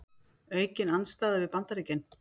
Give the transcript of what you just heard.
Aukin andstaða við Bandaríkin